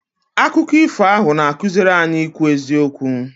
Akụkọ ifo ahụ na-akụziri anyị ikwu eziokwu.